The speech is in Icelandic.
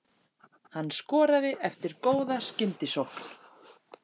Hann skoraði eftir góða skyndisókn.